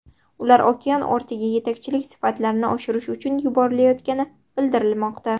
Ular okean ortiga yetakchilik sifatlarini oshirish uchun yuborilayotgani bildirilmoqda.